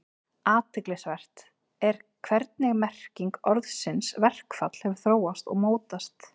Athyglisvert er hvernig merking orðsins verkfall hefur þróast og mótast.